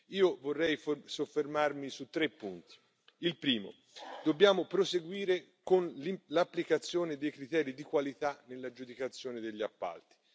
Io vorrei soffermarmi su tre punti, il primo dobbiamo proseguire con l'applicazione dei criteri di qualità nell'aggiudicazione degli appalti.